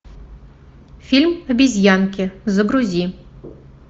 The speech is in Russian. фильм обезьянки загрузи